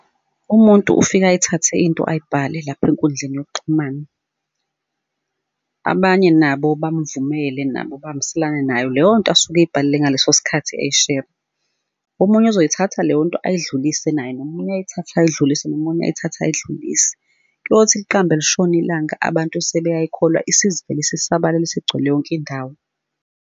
Umuntu ufika ayithathe into ayibhale lapha enkundleni yokuxhumana. Abanye nabo bamuvumele nabo abahambiselana nayo leyo nto asuke ey'bhalile ngaleso sikhathi uyishera. Omunye uzoyithatha leyo nto ayidlulise naye, nomunye ayithathe uyidlulise, nomunye ayithathe uyidlulise, kuyothi liqambe lishona ilanga abantu sebeyayikholwa, isivele isisabalale isigcwele yonke indawo.